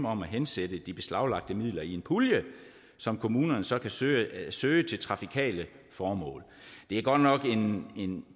om at hensætte de beslaglagte midler i en pulje som kommunerne så kan søge søge til trafikale formål det er godt nok en